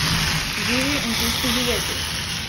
Živi in pusti živeti!